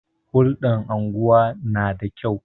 Hulɗar unguwa na da kyau.